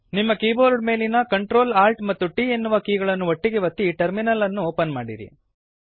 ನಿಮ್ಮ ಕೀಬೋರ್ಡ್ ಮೇಲಿನ Ctrl Alt ಮತ್ತು T ಎನ್ನುವ ಕೀಗಳನ್ನು ಒಟ್ಟಿಗೇ ಒತ್ತಿ ಟರ್ಮಿನಲ್ ಅನ್ನು ಓಪನ್ ಮಾಡಿರಿ